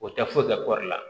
O tɛ foyi kɛ kɔɔri la